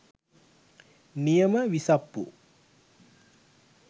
නියම විසප්පු.